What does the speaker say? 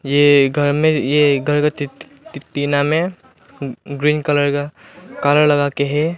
ये घर में ये टीना में ग्रीन कलर का कलर लगा के हैं।